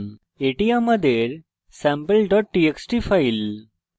এটি আমাদের sample txt file